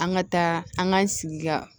An ka taa an ka sigi ka